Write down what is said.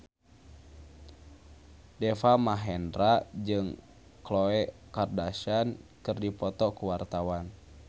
Deva Mahendra jeung Khloe Kardashian keur dipoto ku wartawan